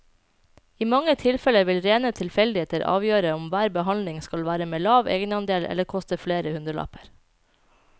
I mange tilfeller vil rene tilfeldigheter avgjøre om hver behandling skal være med lav egenandel eller koste flere hundrelapper.